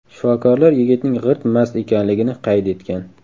Shifokorlar yigitning g‘irt mast ekanligini qayd etgan.